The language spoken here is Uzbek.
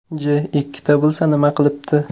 J ikkita bo‘lsa, nima qilibdi?